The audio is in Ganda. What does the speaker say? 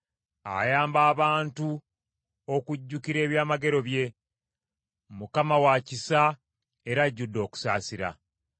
Ayamba abantu okujjukira ebyamagero bye, Mukama wa kisa era ajjudde okusaasira.